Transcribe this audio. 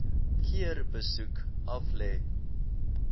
keer besoek aflê